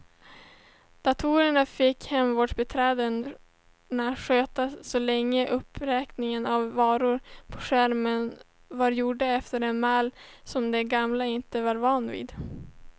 Datorerna fick hemvårdsbiträdena sköta så länge uppräkningen av varorna på skärmen var gjord efter en mall som de gamla inte var vana vid.